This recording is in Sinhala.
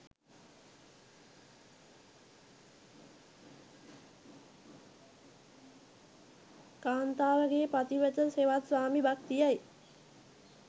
කාන්තාවගේ පතිවත හෙවත් ස්වාමි භක්තිය යි